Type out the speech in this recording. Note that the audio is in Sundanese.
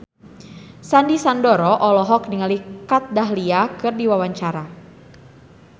Sandy Sandoro olohok ningali Kat Dahlia keur diwawancara